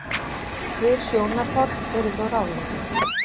Tvö sjónarhorn eru þó ráðandi.